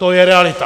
To je realita!